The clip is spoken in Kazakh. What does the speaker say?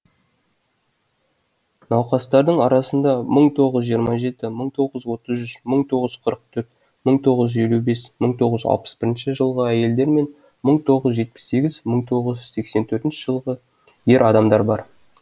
науқастардың арасында мың тоғыз жүз жиырма жеті мың тоғыз жүз отыз үш мың тоғыз жүз қырық төрт мың тоғыз жүз елу бес мың тоғыз жүз алпыс бірінші жылғы әйелдер мен мың тоғыз жүз жетпіс сегіз мың тоғыз жүз сексен төртінші жылғы ер адамдар бар